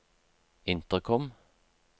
intercom